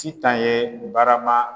Sitan ye barama